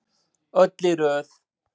Öll í röð.